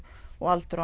aldur